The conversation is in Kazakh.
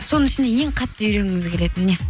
соның ішінде ең қатты үйренгіңіз келетін не